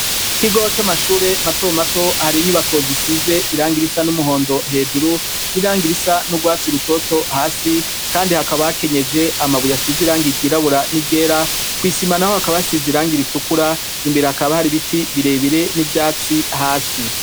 Ikigo c'amashure mato mato hari inyubako zisize irangi risa n'umuhondo hejuru n'irangi risa n'urwatsi rutoto hasi kandi hakaba hakenyeje amabuye asize irangi ryirabura n'iryera kw'isima naho hakaba hasize irangi ritukura imbere hakaba hari biti birebire n'ivyatsi hasi.